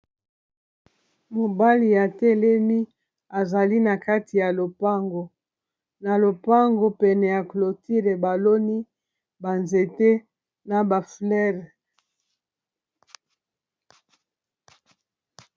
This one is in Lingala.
mobali atelemi azali na kati ya lopango na lopango pene ya clotile baloni banzete na ba fololo.